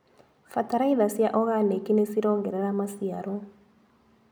Bataraitha cia oganĩki nĩcirongerera maciaro.